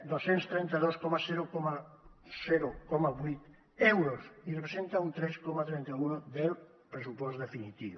dos cents i trenta dos coma vuit euros i representa un tres coma trenta un del pressupost definitiu